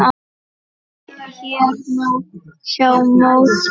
Hér má sjá mótið.